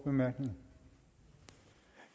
man